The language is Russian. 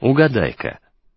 угадайка